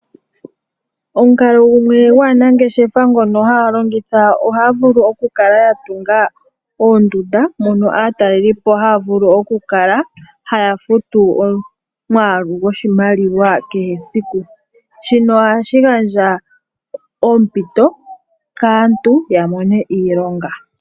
Omukalo gumwe gwaanangeshefa ngono haya longitha ohaya vulu okukala ya tunga oondunda, mono aatalelipo haya vulu okukala haya futu omwaalu goshimaliwa kehesiku. Shino ohashi gandja oompito kantu ya mone iilonga.